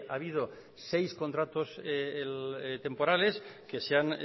ha habido seis contratos temporales que se han